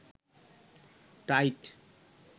tight